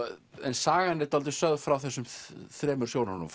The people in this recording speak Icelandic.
sagan er svolítið sögð frá þessum þremur sjónarhólum